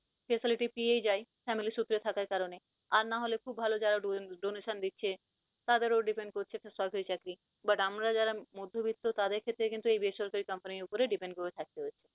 facility পেয়েই যায় family সুত্র থাকা কারনে। আর না হলে খুব ভাল যারা donation দিচ্ছে, তাদেরও depend করছে সরকারি চাকরি। but আমরা যারা মধ্যবিত্ত তাদের ক্ষেত্রে কিন্তু এই বেসরকারি company উপর depend করে থাকতে হয়েছে।